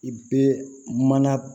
I bɛ mana